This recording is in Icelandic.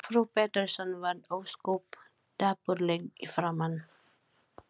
Og frú Pettersson varð ósköp dapurleg í framan.